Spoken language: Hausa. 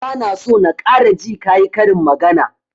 Ba na so na ƙara ji ka yi karin magana!